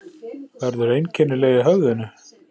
Verður einkennileg í höfðinu.